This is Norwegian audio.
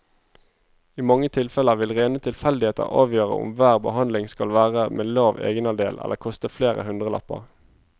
I mange tilfeller vil rene tilfeldigheter avgjøre om hver behandling skal være med lav egenandel eller koste flere hundrelapper.